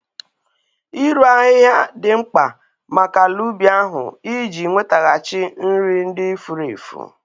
Ịru ahịhịa dị mkpa maka ala ubi ahụ iji nwetaghachi nri ndị furu efu